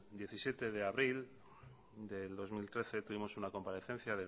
diecisiete de abril del dos mil trece tuvimos una comparecencia